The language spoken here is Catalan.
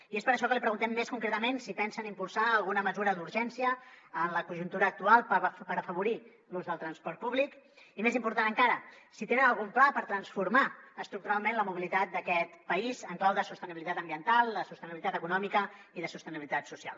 i és per això que li preguntem més concretament si pensen impulsar alguna mesura d’urgència en la conjuntura actual per afavorir l’ús del transport públic i més important encara si tenen algun pla per transformar estructuralment la mobilitat d’aquest país en clau de sostenibilitat ambiental de sostenibilitat econòmica i de sostenibilitat social